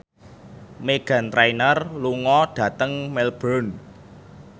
Meghan Trainor lunga dhateng Melbourne